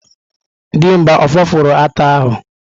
Dimgba o fopụrụ ata ahu?